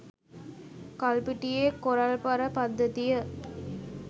කල්පිටියේ coral පර පද්ධතිය